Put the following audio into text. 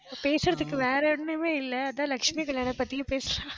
பேசுறதுக்கு, வேற ஒண்ணுமே இல்ல. அதான் லட்சுமி கல்யாண பத்தியும் பேசுறேன்